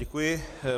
Děkuji.